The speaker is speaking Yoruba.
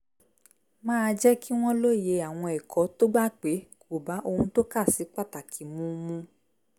máa jẹ́ kí wọ́n lóye àwọn ẹ̀kọ́ tó gbà pé kò bá ohun tó kà sí pàtàkì mu mu